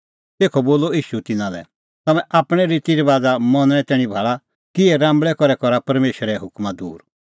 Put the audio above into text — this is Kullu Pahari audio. तेखअ बोलअ ईशू तिन्नां लै तम्हैं आपणैं रितीरबाज़ा मनणें तैणीं भाल़ा किहै राम्बल़ै करै करा परमेशरे हुकमा दूर